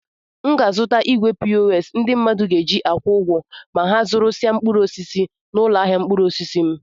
M ga-azụta igwe pos ndị mmadụ ga-eji akwụ ụgwọ ma ha zụrụsịa mkpụrụ osisi n'ụlọ ahịa mkpụrụ osisi m.